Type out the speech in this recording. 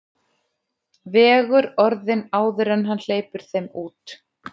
Vegur orðin áður en hann hleypir þeim út.